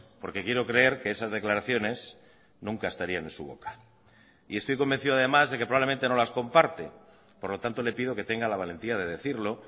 porque quiero creer que esas declaraciones nunca estarían en su boca y estoy convencido además de que probablemente no las comparte por lo tanto le pido que tenga la valentía de decirlo